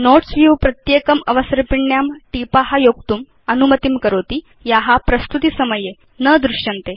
notes view प्रत्येकम् अवसर्पिण्यां टीपा योक्तुम् अनुमतिं करोति या प्रस्तुति समये न दृश्यन्ते